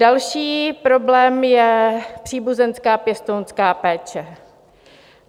Další problém je příbuzenská pěstounská péče.